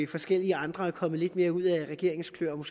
forskellige andre er kommet lidt mere ud af regeringens kløer og